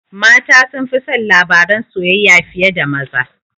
Mata sunfi son labaran soyayya fiye da maza